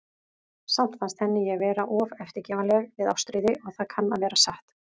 Samt fannst henni ég vera of eftirgefanleg við Ástríði, og það kann að vera satt.